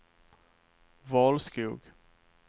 Valskog